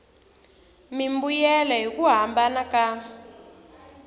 mimbuyelo hi ku hambana ka